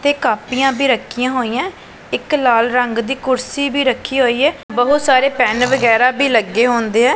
ਤੇ ਕਾਪੀਆਂ ਵੀ ਰੱਖੀਆਂ ਹੋਈਆਂ ਇੱਕ ਲਾਲ ਰੰਗ ਦੀ ਕੁਰਸੀ ਵੀ ਰੱਖੀ ਹੋਈ ਹੈ ਬਹੁਤ ਸਾਰੇ ਪੈਨ ਵਗੈਰਾ ਵੀ ਲੱਗੇ ਹੁੰਦੇ।